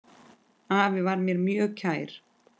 Afi var mér mjög kær.